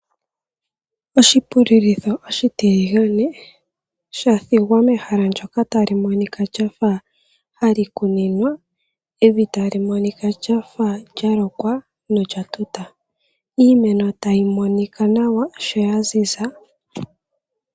Oshipululitho oshitiligane shathigwa mehala ndyoka tali monika lafa hali kuninwa , evi tali monika lyafa lya lokwa nolya tuta, iimeno tayi monika nawa sho ya ziza.